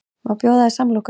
Má bjóða þér samloku?